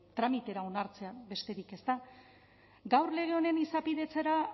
tramitera onartzea besterik ez da gaur lege honen